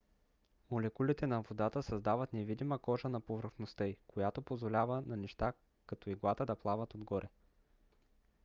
молекулите на водата създават невидима кожа на повърхността ѝ която позволява на неща като иглата да плават отгоре